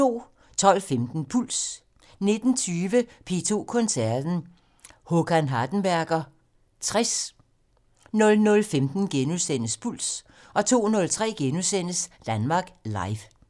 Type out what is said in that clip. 12:15: Puls 19:20: P2 Koncerten - Håkan Hardenberger 60 00:15: Puls * 02:03: Danmark Live *